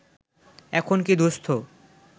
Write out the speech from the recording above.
এখন কী দুস্থ